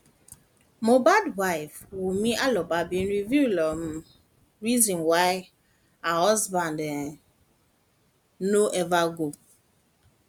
mohbad wife wunmi alobabin reveal um reason why her husband um no ever go